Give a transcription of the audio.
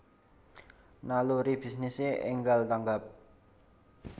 Naluri bisnise enggal tanggap